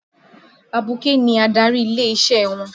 Abuké ni adarí ilé-isẹ́ wọn.